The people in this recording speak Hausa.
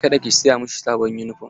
Ka da ki siya mashi sabon yunifom!